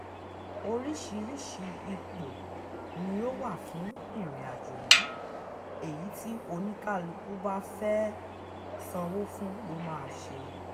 oríṣiríṣi ipò ni ó wà fún ìrìnàjò yìí èyí tí oníkálukú bá fẹ́ẹ́ sanwó fún ló máa ṣe